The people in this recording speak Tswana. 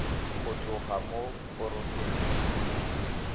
go tloga mo porofenseng e